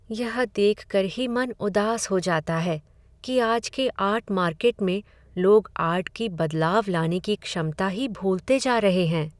ये देखकर ही मेरा मन उदास हो जाता है कि आज के आर्ट मार्केट में लोग आर्ट की बदलाव लाने की क्षमता ही भूलते जा रहे हैं।